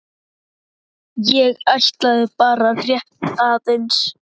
ég ætlaði bara rétt aðeins.